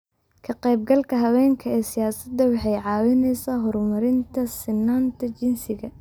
Ka-qaybgalka haweenka ee siyaasadda waxay caawisaa horumarinta sinnaanta jinsiga.